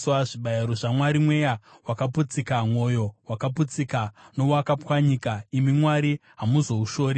Zvibayiro zvaMwari mweya wakaputsika; mwoyo wakaputsika nowakapwanyika, imi Mwari hamuzoushori.